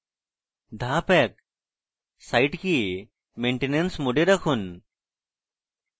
ধাপ 1: site কে maintenance mode এ রাখুন